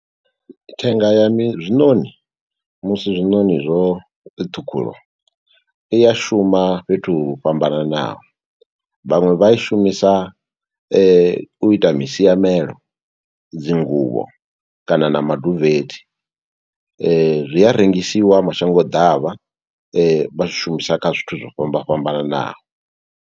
Thenga ya mi zwinoṋi, musi zwinoṋi zwo ṱhukhulwa i ya shuma fhethu ho fhambananaho. Vhaṅwe vha ishumisa u ita misiamelo, dzi nguvho, kana na maduvethe. Zwi a rengisiwa mashango ḓavha, vha zwi shumisa kha zwithu zwo fhamba fhambananaho.